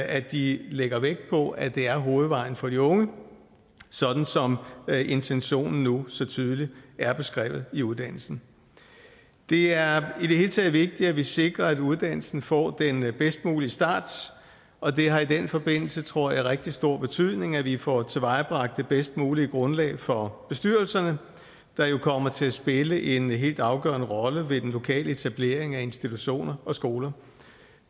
at de lægger vægt på at det er hovedvejen for de unge sådan som intentionen nu så tydeligt er beskrevet i uddannelsen det er i det hele taget vigtigt at vi sikrer at uddannelsen får den bedst mulige start og det har i den forbindelse tror jeg rigtig stor betydning at vi får tilvejebragt det bedst mulige grundlag for bestyrelserne der jo kommer til at spille en helt afgørende rolle ved den lokale etablering af institutioner og skoler